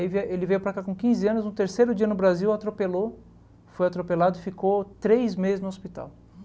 Aí vie ele veio para cá com quinze anos, no terceiro dia no Brasil atropelou, foi atropelado e ficou três meses no hospital.